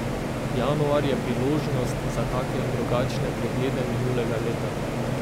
Januar je priložnost za take in drugačne preglede minulega leta.